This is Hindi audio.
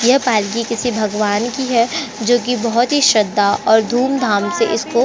यह पालकी किसी भगवान की है जो की बहुत ही श्रद्धा और धूम-धाम से इसको--